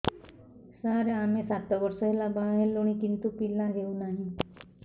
ସାର ଆମେ ସାତ ବର୍ଷ ହେଲା ବାହା ହେଲୁଣି କିନ୍ତୁ ପିଲା ହେଉନାହିଁ